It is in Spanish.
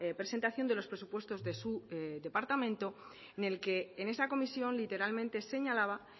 presentación de los presupuestos de su departamento en el que en esa comisión literalmente señalaba